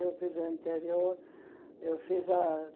Eu fiz o interior. Eu fiz a